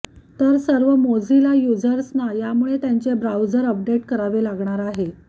तर सर्व मोझिला युझर्सना यामुळे त्यांचे ब्राउझर अपडेट करावे लागणार आहे